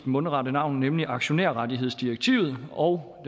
mundret navn nemlig aktionærrettighedsdirektivet og